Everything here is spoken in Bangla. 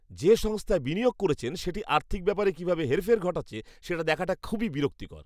যে সংস্থায় বিনিয়োগ করেছেন, সেটি আর্থিক ব্যাপারে কীভাবে হেরফের ঘটাচ্ছে সেটা দেখাটা খুবই বিরক্তিকর।